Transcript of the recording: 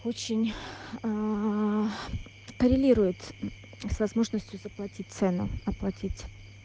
очень коррелирует с возможностью заплатить цену оплатить